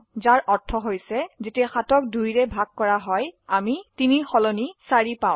যাৰ অৰ্থ হৈছে যেতিয়া 7ক 2 ৰে ভাগ কৰা হয় আমি 3 ৰ সলনি4 পাও